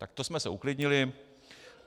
Tak to jsme se uklidnili.